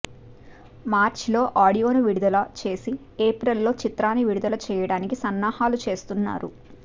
మార్చిలో ఆడియోను విడుదల చేసి ఏప్రిల్లో చిత్రాన్ని విడుదల చేయడానికి సన్నాహాలు చేస్తున్నారు